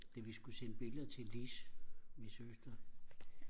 da vi skulle sende billeder til Lis min søster